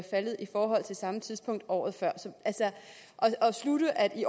faldet i forhold til samme tidspunkt året før at slutte at der i